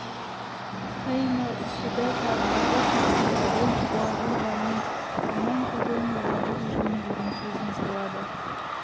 фәиннәл үсідә тәтбағұһа зихабен уәғұрбәнен фәмән ғұррен уәғұр жөн деген сөзін салады